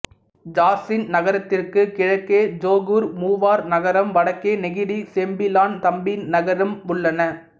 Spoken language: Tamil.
ஜாசின் நகரத்திற்கு கிழக்கே ஜொகூர் மூவார் நகரம் வடக்கே நெகிரி செம்பிலான் தம்பின் நகரம் உள்ளன